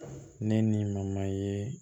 Ne ni ye